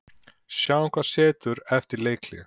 Sjáum hvað setur eftir leikhlé.